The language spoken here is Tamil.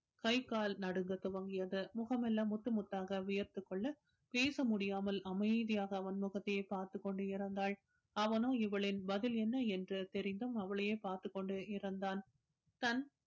கை கால் நடுங்கத் துவங்கியது முகமெல்லாம் முத்து முத்தாக வியர்த்துக் கொள்ள பேச முடியாமல் அமைதியாக அவன் முகத்தையே பார்த்துக் கொண்டு இருந்தாள் அவனோ இவளின் பதில் என்ன என்று தெரிந்தும் அவளையே பார்த்துக் கொண்டு இருந்தான் தன்